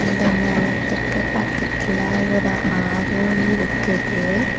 இந்த நெலத்துக்கு பக்கத்துல ஒரு ஆறூ இருக்குது.